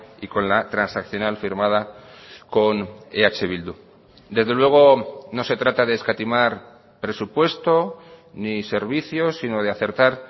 y con la transaccional firmada con eh bildu desde luego no se trata de escatimar presupuesto ni servicios sino de acertar